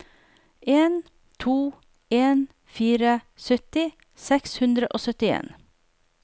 en to en fire sytti seks hundre og syttien